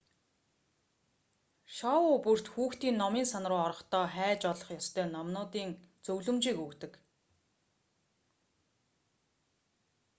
шоу бүрт хүүхдийн номын сан руу орохдоо хайж олох ёстой номуудын зөвлөмжийг өгдөг